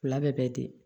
U fila bɛɛ ten